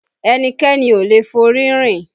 Ẹnikẹ́ni ò lè forí rìn